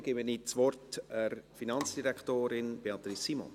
Dann gebe ich das Wort der Finanzdirektorin, Beatrice Simon.